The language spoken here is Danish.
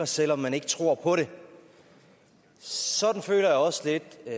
selv om man ikke tror på det sådan føler jeg også lidt at